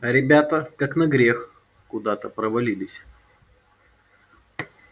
а ребята как на грех куда то провалились